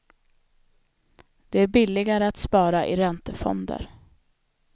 Det är billigare att spara i räntefonder.